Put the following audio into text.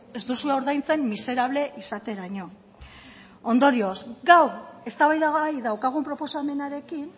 ez duzue ordaintzen miserable izateraino ondorioz gaur eztabaidagai daukagun proposamenarekin